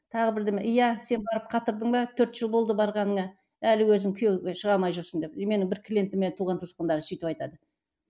тағы бірдеме иә сен барып қатырдың ба төрт жыл болды барғаныңа әлі өзің күйеуге шыға алмай жүрсің деп и менің бір клиентіме туған туысқандары сөйтіп айтады